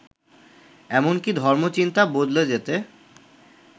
এমনকি ধর্মচিন্তা বদলে যেতে